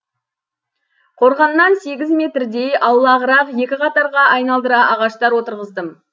қорғаннан сегіз метрдей аулағырақ екі қатарға айналдыра ағаштар отырғыздым